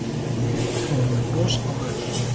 Fóru með bros á vör